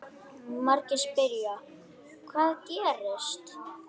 Margir spyrja: Hvað gerðist?